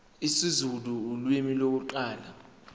isizulu ulimi lokuqala